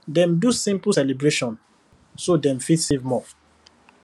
dem do simple celebration so dem fit save more